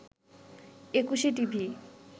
Ekushey TV